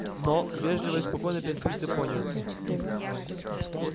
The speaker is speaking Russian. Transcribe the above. но вежливо и спокойно переспросил пониетс